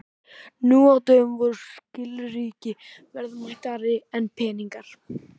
Nú á dögum voru skilríki verðmætari en peningar.